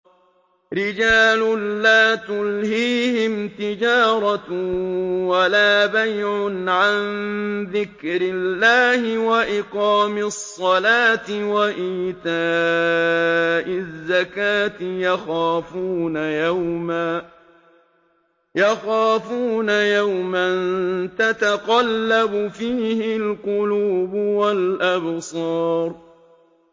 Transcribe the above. رِجَالٌ لَّا تُلْهِيهِمْ تِجَارَةٌ وَلَا بَيْعٌ عَن ذِكْرِ اللَّهِ وَإِقَامِ الصَّلَاةِ وَإِيتَاءِ الزَّكَاةِ ۙ يَخَافُونَ يَوْمًا تَتَقَلَّبُ فِيهِ الْقُلُوبُ وَالْأَبْصَارُ